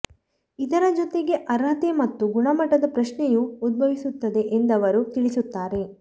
ಇದರ ಜೊತೆಗೆ ಅರ್ಹತೆ ಮತ್ತು ಗುಣಮಟ್ಟದ ಪ್ರಶ್ನೆಯೂ ಉದ್ಭವಿಸುತ್ತದೆ ಎಂದವರು ತಿಳಿಸುತ್ತಾರೆ